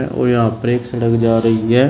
और यहां पर एक सड़क जा रही है।